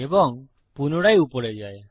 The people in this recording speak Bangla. এবং পুনরায় উপরে যায়